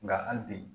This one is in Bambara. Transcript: Nka hali bi